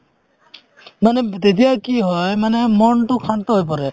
মানে তেতিয়া কি হয় মনতো শান্ত হয় পৰে